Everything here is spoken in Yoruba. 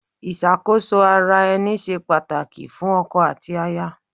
Ìṣàkóso ara ẹni ṣe pàtàkì fún ọkọ àti aya.